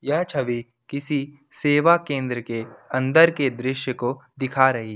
यह छवि किसी सेवा केंद्र के अंदर के दृश्य को दिखा रही--